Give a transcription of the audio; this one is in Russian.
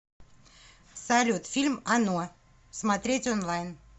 салют фильм оно смотреть онлайн